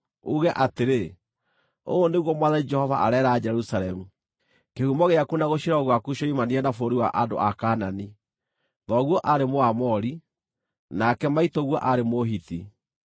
uuge atĩrĩ, ‘Ũũ nĩguo Mwathani Jehova areera Jerusalemu: Kĩhumo gĩaku na gũciarwo gwaku cioimanire na bũrũri wa andũ a Kaanani; thoguo aarĩ Mũamori, nake maitũguo aarĩ Mũhiti.